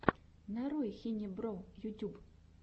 нарой хинебро ютюб